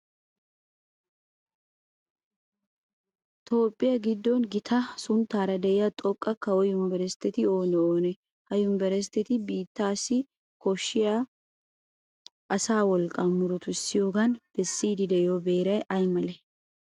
Toophphiya giddon gita sunttaara de'iya xoqqa kawo yunverestteti oonee oonee? Ha yunverestteti biitteessi koshshiya asaa wolqqaa murutissiyogan bessiiddi de'iyo beeray ay malee?